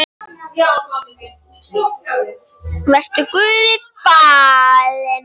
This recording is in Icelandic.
Vertu Guði falin.